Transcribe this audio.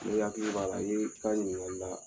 N'i hakili b'a la, Ye ka ɲiningali la